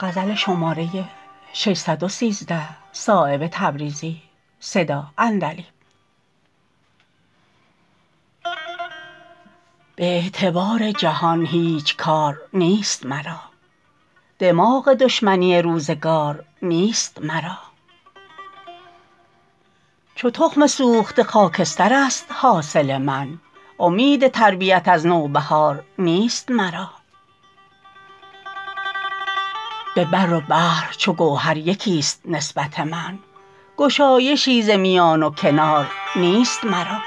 به اعتبار جهان هیچ کار نیست مرا دماغ دشمنی روزگار نیست مرا چو تخم سوخته خاکسترست حاصل من امید تربیت از نوبهار نیست مرا به بر و بحر چو گوهر یکی است نسبت من گشایشی ز میان و کنار نیست مرا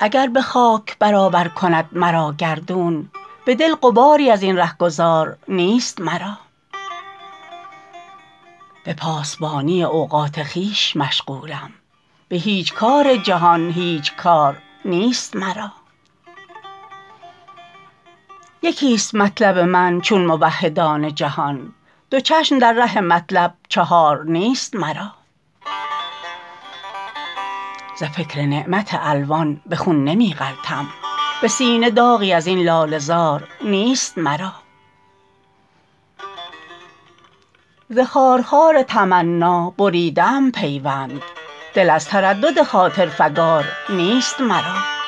اگر به خاک برابر کند مرا گردون به دل غباری ازین رهگذار نیست مرا به پاسبانی اوقات خویش مشغولم به هیچ کار جهان هیچ کار نیست مرا یکی است مطلب من چون موحدان جهان دو چشم در ره مطلب چهار نیست مرا ز فکر نعمت الوان به خون نمی غلطم به سینه داغی ازین لاله زار نیست مرا ز خارخار تمنا بریده ام پیوند دل از تردد خاطر فگار نیست مرا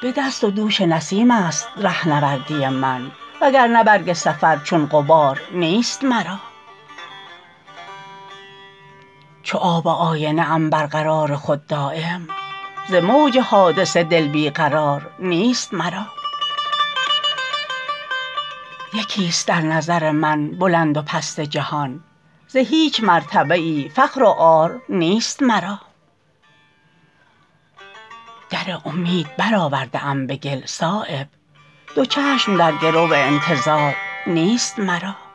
به دست و دوش نسیم است رهنوردی من وگرنه برگ سفر چون غبار نیست مرا چو آب آینه ام برقرار خود دایم ز موج حادثه دل بی قرار نیست مرا یکی است در نظر من بلند و پست جهان ز هیچ مرتبه ای فخر و عار نیست مرا در امید برآورده ام به گل صایب دو چشم در گرو انتظار نیست مرا